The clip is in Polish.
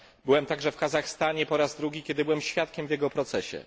Byłem także w Kazachstanie po raz drugi, kiedy byłem świadkiem w jego procesie.